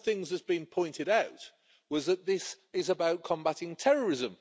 One of the things that has been pointed out was that this is about combating terrorism,